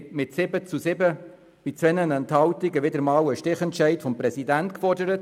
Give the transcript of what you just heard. mit 7 zu 7 Stimmen bei 2 Enthaltungen war ein Stichentschied des Präsidenten gefordert.